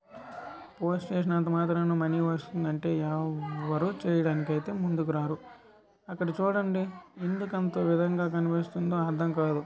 Post వేసినంత మాత్రాన money వస్తుందంటే ఎవ్వరు చేయడానికి అయితే ముందుకు రారు అక్కడ చూడండి ఎందుకు అంత విధంగా కనిపిస్తుందో అర్థం కాదు.